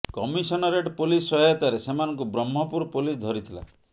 commissionerate police ସହାୟତାରେ ସେମାନଙ୍କୁ Brahmapur police ଧରି ଥିଲା